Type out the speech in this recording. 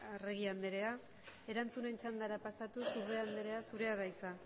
arregi anderea erantzunen txandara pasatuz urrea anderea zurea da hitza